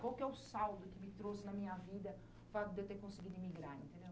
Qual que é o saldo que me trouxe na minha vidao fato de eu ter conseguido emigrar, entendeu?